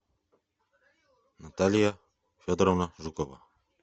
наталья федоровна жукова